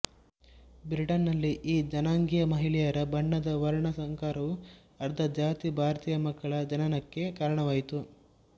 Britain ನಲ್ಲಿ ಈ ಜನಾಂಗೀಯ ಮಹಿಳೆಯರ ಬಣ್ಣದ ವರ್ಣ ಸಂಕರವು ಅರ್ಧಜಾತಿ ಭಾರತೀಯಮಕ್ಕಳ ಜನನಕ್ಕೆ ಕಾರಣವಾಯಿತು